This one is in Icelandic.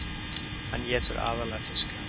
hann étur aðallega fiska